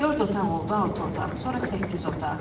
Dörd otaq oldu altı otaq, sonra səkkiz otaq.